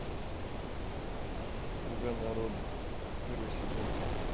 слуга народа первый сезон